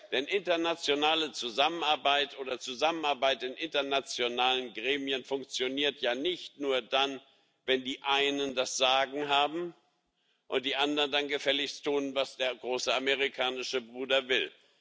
Denn internationale Zusammenarbeit oder Zusammenarbeit in internationalen Gremien funktioniert ja nicht nur dann, wenn die Einen das Sagen haben und die Anderen dann gefälligst tun, was der große amerikanische Bruder will.